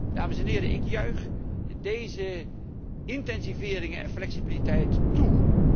Dames en heren, ik juich deze intensiveringen en flexibiliteit toe.